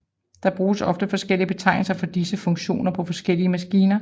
Der bruges ofte forskellige betegnelser for disse funktioner på forskellige maskiner